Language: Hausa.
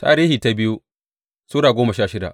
biyu Tarihi Sura goma sha shida